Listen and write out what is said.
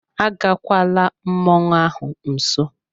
Agakwala mmọnwụ ahụ nso!